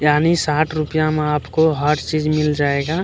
यानी साठ रुपया में आपको हर चीज मिल जाएगा।